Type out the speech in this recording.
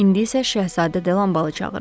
İndi isə Şəhzadə Delambalı çağırın.